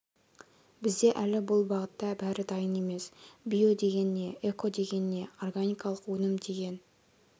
бізде әлі бұл бағытта бәрі дайын емес био деген не эко деген не органикалық өнім деген